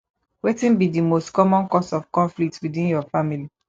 wetin be di most common cause of conflicts within your family